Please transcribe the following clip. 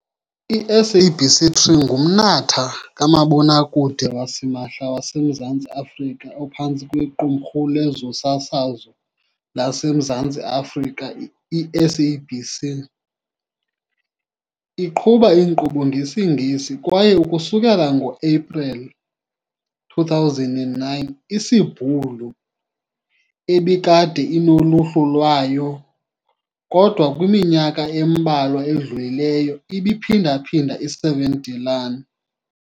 I-SABC 3 ngumnatha kamabonakude wasimahla waseMzantsi Afrika ophantsi kweQumrhu lezoSasazo laseMzantsi Afrika, i-SABC. Iqhuba inkqubo ngesiNgesi kwaye, ukusukela ngo-Epreli 2009, isiBhulu, ebikade inoluhlu lwayo kodwa kwiminyaka embalwa edlulileyo ibiphindaphinda i-7de Laan.